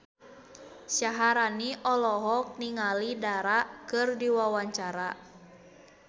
Syaharani olohok ningali Dara keur diwawancara